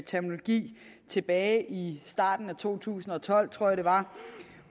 terminologi tilbage i starten af to tusind og tolv tror jeg det var